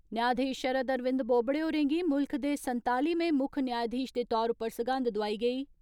न्यायधीश शरद अरविंद बोबड़े होरें गी मुल्ख दे संतालिमें मुक्ख न्यायधीश दे तौर उप्पर सगंध दोआई गेई।